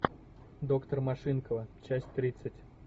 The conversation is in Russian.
доктор машинкова часть тридцать